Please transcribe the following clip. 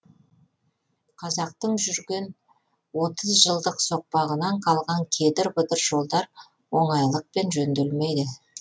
қазақтың жүрген отыз жылдық соқпағынан қалған кедір бұдыр жолдар оңайлықпен жөнделмейді